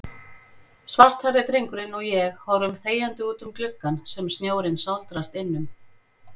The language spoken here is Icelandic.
Svarthærði drengurinn og ég horfum þegjandi útum gluggann sem snjórinn sáldrast innum.